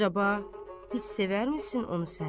Əcəba, heç sevərmisin onu sən?